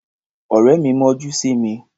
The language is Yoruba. Ọ̀rẹ́ mi mọ́jú sí mi.